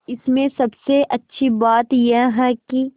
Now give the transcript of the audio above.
इसमें सबसे अच्छी बात यह है कि